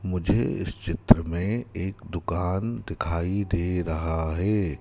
मुझे इस चित्र में एक दुकान दिखाई दे रहा है।